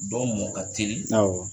Dɔ mɔ ka teli, awɔ.